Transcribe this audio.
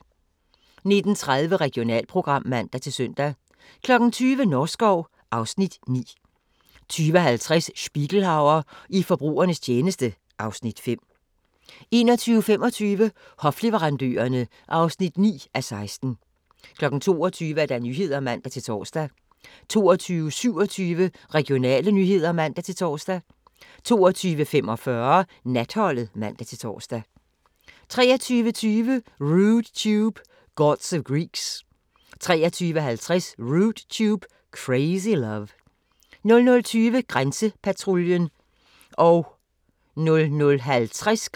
19:30: Regionalprogram (man-søn) 20:00: Norskov (Afs. 9) 20:50: Spiegelhauer i forbrugernes tjeneste (Afs. 5) 21:25: Hofleverandørerne (9:16) 22:00: Nyhederne (man-tor) 22:27: Regionale nyheder (man-tor) 22:45: Natholdet (man-tor) 23:20: Rude Tube – Gods of Geeks 23:50: Rude Tube – Crazy Love 00:20: Grænsepatruljen (man-tir og tor)